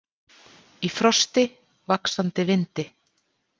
Í frosti, vaxandi vindi.